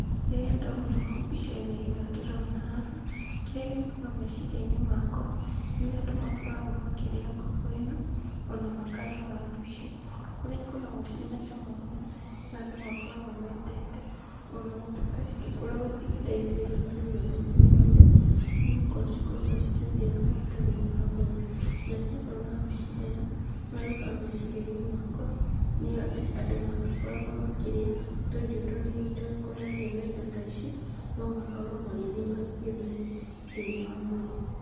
Rĩrĩa ndona ũũ mbica-inĩ ĩno ndĩrona haha, kĩrĩa gĩũkaga meciria-inĩ makwa nĩũrĩa andũ makoragwo makĩrĩa ngũkũ ĩno ona maakarĩa waru ici, nĩikoragwo ina cama mũno na andũ makoragwo mendete ona gũtuĩka citĩkoragwo cigĩtĩithĩrĩria mũno thĩ-inĩ wa mwĩrĩ, nĩgũkorwo cikoragwo cikiongerera maguta thĩ-inĩ wa mwĩrĩ, na rĩrĩa ndona mbica ĩno kĩrĩa gĩũkaga meciria-inĩ makwa nĩatĩ andũ mangĩkoragwo makĩrĩa tũirio tũnini tũkonainiĩ na indo ta ici nomakorwo magĩthima gĩthimi thĩ-inĩ wa mwĩrĩ.